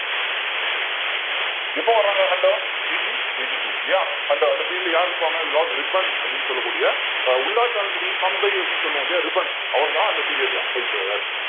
எப்போ வர்றாங்க Hunter eighteen eighty-two இல்லையா and அந்த period ல யாரு இருப்பாங்க lord ரிப்பன் அப்படின்னு சொல்லக்கூடிய ஆஹ் உள்ளாட்சி அமைப்புகளின் தந்தை அப்படின்னு சொல்லுவோம் இல்லையா ரிப்பன் அவர்தான் அந்த period ல